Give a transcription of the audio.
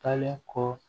Taalen kɔ